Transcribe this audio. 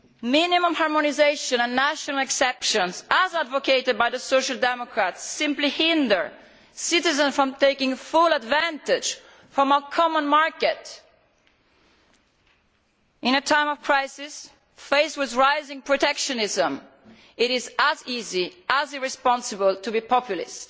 Minimum harmonisation and national exceptions, as advocated by the Social Democrats, simply hinder citizens from taking full advantage of a common market. At a time of crisis, faced with rising protectionism, it is as easy as it is irresponsible to be populist.